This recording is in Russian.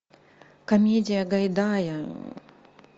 комедия гайдая